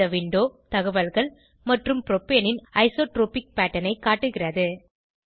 இந்த விண்டோ தகவல்கள் மற்றும் புரோப்பேன் ன் ஐசோட்ரோபிக் பேட்டர்ன் ஐ காட்டுகிறது